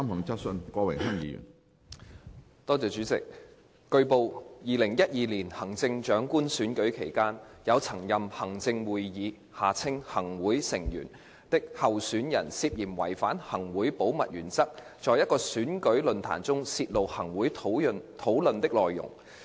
主席，據報 ，2012 年行政長官選舉期間，有曾任行政會議成員的候選人涉嫌違反行會保密原則，在一個選舉論壇中泄露行會討論的內容。